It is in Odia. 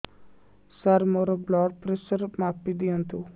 ସାର ମୋର ବ୍ଲଡ଼ ପ୍ରେସର ମାପି ଦିଅନ୍ତୁ